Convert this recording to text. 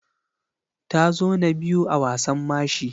Ta zo na biyu a wasan mashi.